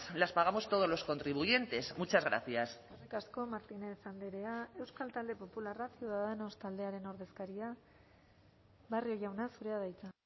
las pagamos todos los contribuyentes muchas gracias eskerrik asko martínez andrea euskal talde popularra ciudadanos taldearen ordezkaria barrio jauna zurea da hitza